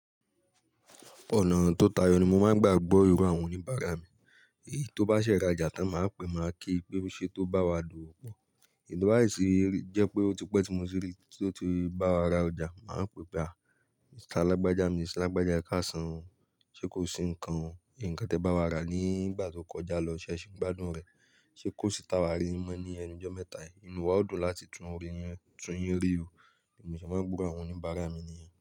Ọ̀nà tó tayọ ni mo máa ń gbà gbọ́ iro àwọn oníbàárà mi. Èyí tó bá ṣẹ̀ ràjà tán máa pè, máa ki pé o ṣé, tó bá wa dowo pọ̀. Eyi to ba sì jẹ́ pé ó ti pẹ́ tí mo ti rí i, tí ó ti bá wa ra ọjà, màá pè pé à, "Mr. Alágbájá mi, Mr lágbája ẹ káàsán, ṣé kò sì ńkan o? Ǹkan tẹ bá wa rà nígbà tó kọjá lọ, ṣé ẹ ṣi n gbádùn rẹ̀? Ṣé kò sì ti awá rí yin mọ́ ní ẹnu ijọ́ mẹ́ta yìí?" Ìnu wa o dùn láti tún rí yin, tún yín rí o, bi mo se máa ń gburo àwọn oníbàárà mi nìyẹn.